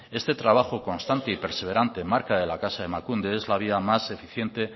este trabajo constante y perseverante marca de la casa emakunde es la vía más eficiente